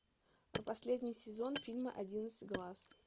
последний сезон фильма одиннадцать глаз